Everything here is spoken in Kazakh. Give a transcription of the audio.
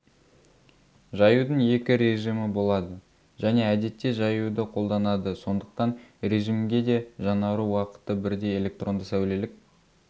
жаюдың екі режимы болады және әдетте жаюды қолданады сондықтан режимге де жаңару уақыты бірдей электронды-сәулелік